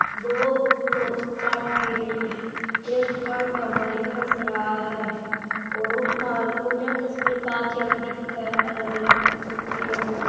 दो तो चा पी रही है एक दुकान का मालिक हंस रहा है और उपमा बिन्ने तस्वीर कांचया मै दिखे है अलग अलग किस्म की है दोनो की।